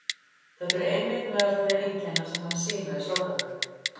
Þetta eru einmitt meðal þeirra einkenna sem menn sýna í sorgarferli.